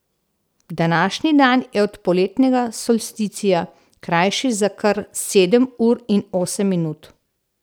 Današnji dan je od poletnega solsticija krajši za kar sedem ur in osem minut.